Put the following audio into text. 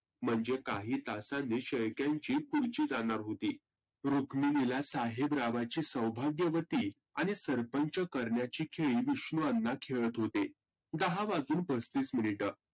म्हणजे काही तासांनी शेळक्यांची खुर्ची जाणार होती. रुक्मिनीला साहेबरावांची सौभाग्यवती आणि सरपंच करण्याची याची खेळी विष्णू अण्णा खेळत होते. दहा वाजून पस्तीस मिनीट.